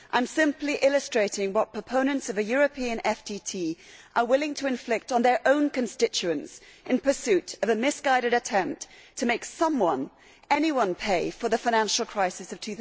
I am simply illustrating what proponents of a European FTT are willing to inflict on their own constituents in pursuit of a misguided attempt to make someone, anyone, pay for the financial crisis of